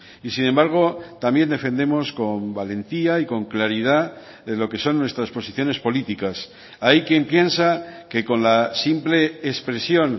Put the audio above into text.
y sin embargo también defendemos con valentía y con claridad lo que son nuestras posiciones políticas hay quien piensa que con la simple expresión